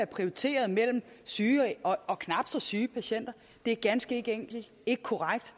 prioriteret mellem syge og knap så syge patienter er ganske enkelt ikke korrekt